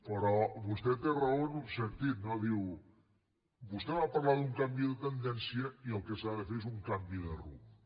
però vostè té raó en un sentit no diu vostè va parlar d’un canvi de tendència i el que s’ha de fer és un canvi de rumb